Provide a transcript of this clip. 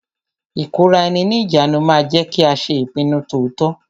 Ìkóraẹni ní ìjánu ma ń jẹ́ kí a ṣe ìpinnu to tọ́.